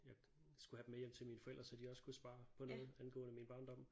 Jeg skulle have dem med hjem til mine forældre så de også kunne svare på noget angående min barndom